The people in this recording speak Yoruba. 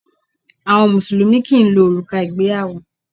Àwọn Mùsùlùmí kì ń lo òrùka ìgbéyàwó.